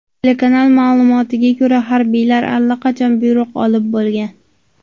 Telekanal ma’lumotlariga ko‘ra, harbiylar allaqachon buyruq olib bo‘lgan.